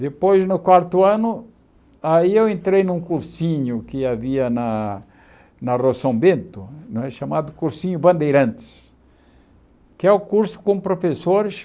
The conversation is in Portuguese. Depois, no quarto ano, aí eu entrei num cursinho que havia na na Roção Bento, chamado Cursinho Bandeirantes, que é o curso com professores